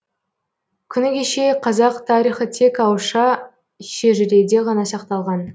күні кеше қазақ тарихы тек ауызша шежіреде ғана сақталған